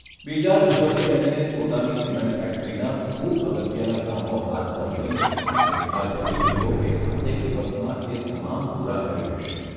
બીજા જ દિવસે એણે પોતાની સિમેન્ટ ફેક્ટરીનાં ખુબ અગત્યનાં કામો હાથ પર લઇને નિર્ધાર કરી લીધો કે સાતેક દિવસમાં એ તમામ પૂરાં કરી લેશે.